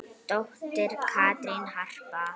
Dóttir Katrín Harpa.